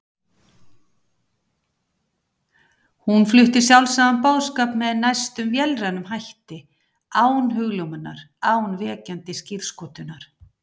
Hún flutti sjálfsagðan boðskap með næstum vélrænum hætti, án hugljómunar, án vekjandi skírskotunar.